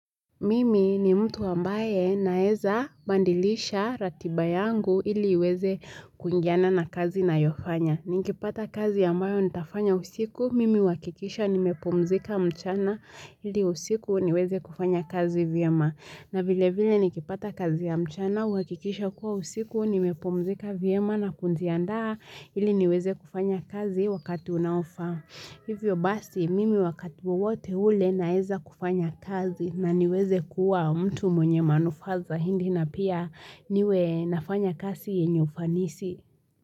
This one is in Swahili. Mimi ni mtu ambaye naeza bandilisha ratiba yangu ili weze kuingiana na kazi nayofanya. Ni kipata kazi ambayo nitafanya usiku, mimi huwakikisha nimepumzika mchana ili usiku niweze kufanya kazi vyema. Na vile vile nikipata kazi ya mchana, huhakikisha kuwa usiku nimepumzika vyema na kujiandaa ili niweze kufanya kazi wakati unaofaa. Hivyo basi mimi wakati wotewote ule naeza kufanya kazi na niweze kuwa mtu mwenye manufaa zaindi na pia niwe nafanya kazi yenye ufanisi.